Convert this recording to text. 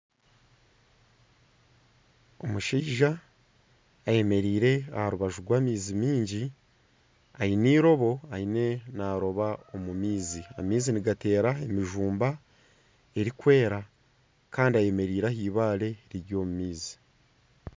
Omushaija ayemereire aha rubaju rw'amaizi mingi aine eirobo ariyo naaroba omu maizi. Amaizi nigatera emijumba erikwera kandi ayemereire aha eibare riri omu maizi.